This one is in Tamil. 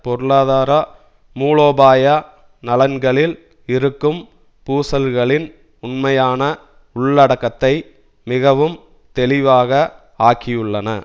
பொருளாதார மூலோபாய நலன்களில் இருக்கும் பூசல்களின் உண்மையான உள்ளடக்கத்தை மிக தெளிவாக ஆக்கியுள்ளன